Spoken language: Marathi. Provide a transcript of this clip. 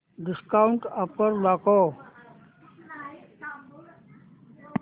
डिस्काऊंट ऑफर दाखव